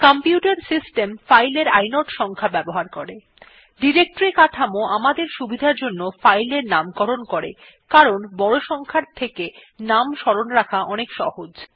computer system file এর inode সংখ্যা ব্যবহার করে ডিরেক্টরী কাঠামো আমাদের সুবিধার জন্য ফাইল এর নামকরণ করে কারণ বড় সংখ্যার চেয়ে নাম স্মরণ রাখা অনেক সহজ